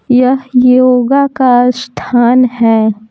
यह योगा का स्थान है।